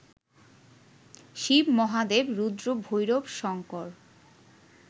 Shiva Mahadev, Rudra, Bhairav, Shankar